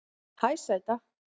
Hæ sæta